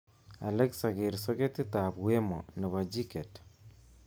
Alexa ker soketitab wemo nebo jiket